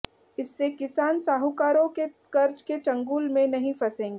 इससे किसान साहूकारों के कर्ज के चंगुल में नहीं फंसेंगे